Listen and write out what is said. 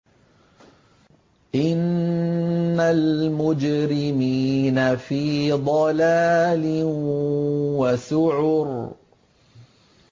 إِنَّ الْمُجْرِمِينَ فِي ضَلَالٍ وَسُعُرٍ